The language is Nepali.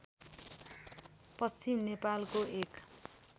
पश्चिम नेपालको एक